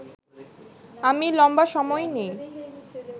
আমি লম্বা সময় নেই